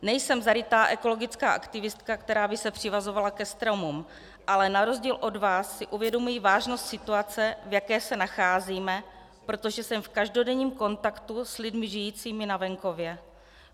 Nejsem zarytá ekologická aktivistka, která by se přivazovala ke stromům, ale na rozdíl od vás si uvědomuji vážnost situace, v jaké se nacházíme, protože jsem v každodenním kontaktu s lidmi žijícími na venkově.